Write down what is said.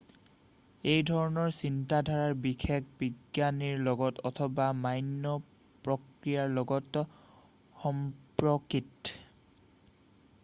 এইধৰণৰ চিন্তাধাৰা বিশেষ বিজ্ঞানৰ লগত অথবা মান্য প্ৰক্ৰিয়াৰ লগত সম্পৰ্কিত